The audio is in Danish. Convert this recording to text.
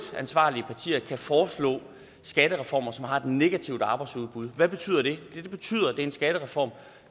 ansvarlige partier kan foreslå skattereformer som har et negativt arbejdsudbud hvad betyder det det betyder at det er en skattereform